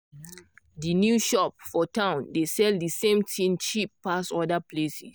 di new shop for town dey sell di same thing cheap pass other place.